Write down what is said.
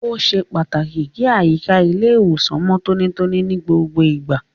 Ó ṣe pàtàkì kí àyíká ilé ìwòsàn mọ tonítoní ní gbogbo ìgbà.